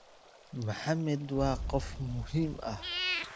"Maxamed waa qof muhiim ah.